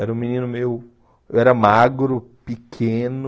Era um menino meio, eu era magro, pequeno...